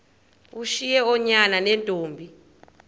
ushiye oonyana neentombi